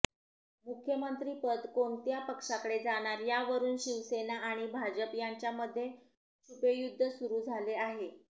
मुख्यमंत्री पद कोणत्या पक्षाकडे जाणार यावरुन शिवसेना आणि भाजप यांच्यामध्ये छुपेयुध्द सुरु झाले आहे